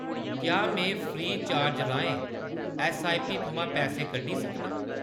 क्या में free charge राहें ऐस्सआईपी थमां पैसे कड्ढी सकनां ?